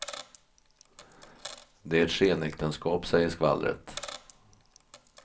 Det är ett skenäktenskap, säger skvallret.